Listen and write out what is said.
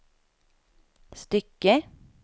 stycke